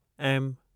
M